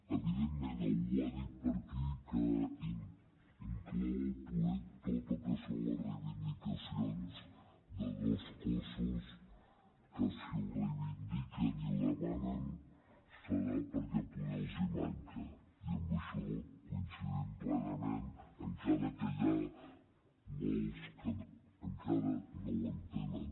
evidentment algú ha dit per aquí que inclou poder tot el que són les reivindicacions de dos cossos que si ho reivindiquen i ho demanen deu ser perquè poder els manca i en això coincidim plenament encara que n’hi ha molts que encara no ho entenen